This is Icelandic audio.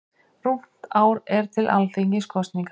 Rúmt ár er til Alþingiskosninga.